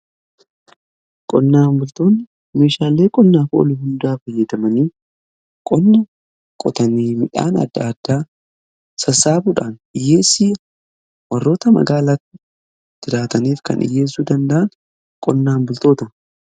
Qonnaan bultoonni meeshaalee qonnaaf oolan hundaa fayyadamanii qonna qotanii midhaan adda addaa sassaabuudhaan hiyyeessi warroota magaalaa jiraataniif kan dhiyyeessuu danda'an qonnaan bultoota.